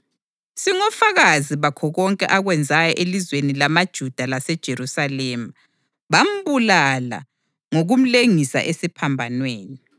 Singofakazi bakho konke akwenzayo elizweni lamaJuda laseJerusalema. Bambulala ngokumlengisa esiphambanweni,